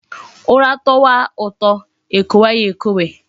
Ura towa uto ekwowe ya ekwowe